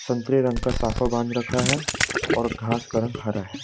संतरे रंग का साफा बांध रखा है और घास का रंग हरा है।